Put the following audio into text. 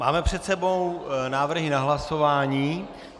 Máme před sebou návrhy na hlasování.